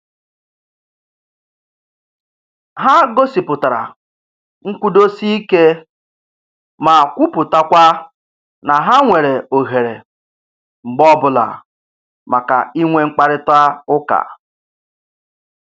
Ha gosipụtara nkwụdosike ma kwuputakwa na ha nwere ohere mgbe ọbụla maka inwe mkparịta ụka